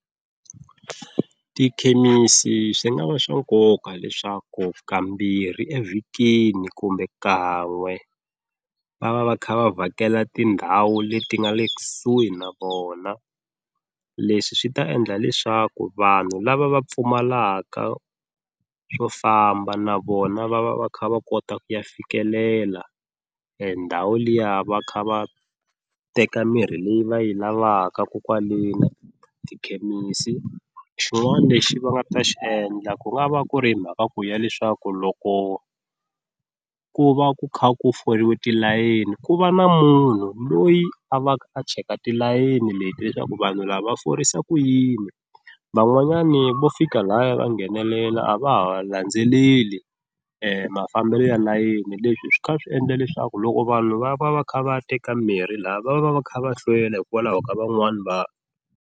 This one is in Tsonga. Tikhemisi swi nga va swa nkoka leswaku kambirhi evhikini kumbe kan'we va va va kha va vhakela tindhawu leti nga le kusuhi na vona leswi swi ta endla leswaku vanhu lava va pfumalaka swo famba na vona va va va kha va kota ku ya fikelela e ndhawu liya va kha va teka mirhi leyi va yi lavakaka kokwaleni tikhemisi, xin'wani lexi va nga ta xi endla ku nga va ku ri mhaka ku ya leswaku loko ku va ku kha ku foriwe tilayeni ku va na munhu loyi a va a cheka tilayeni leti leswaku vanhu lava va forisa ku yini, van'wanyani vo fika laya va nghenelela a va ha landzeleli e mafambelo ya layeni leswi swi kha swi endla leswaku loko vanhu va va va kha va teka mirhi lha va va va va kha va hlwela hikwalaho ka van'wani .